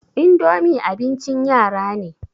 idomi abincin yara ne